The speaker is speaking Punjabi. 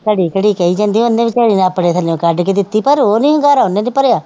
ਘੜੀ ਘੜੀ ਕਹੀ ਜਾਂਦੀ ਸੀ, ਉਹਨੇ ਬੇਚਾਰੇ ਨੇ ਆਪਣੇ ਥੱਲਿਉਂ ਕੱਢ ਕੇ ਦਿੱਤੀ, ਪਰ ਉਹ ਨਹੀਂ ਹੁੰਗਾਰਾ, ਉਹਨਾ ਨੇ ਭਰਿਆ